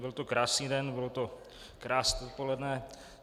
Byl to krásný den, bylo to krásné odpoledne.